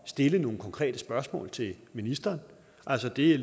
stille nogle konkrete spørgsmål til ministeren altså det